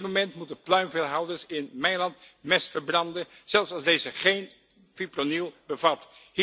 Op dit moment moeten pluimveehouders in mijn land mest verbranden, zelfs als deze geen fipronil bevat.